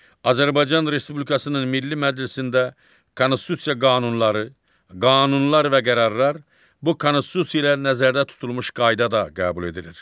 Azərbaycan Respublikasının Milli Məclisində konstitusiya qanunları, qanunlar və qərarlar bu konstitusiyada nəzərdə tutulmuş qaydada qəbul edilir.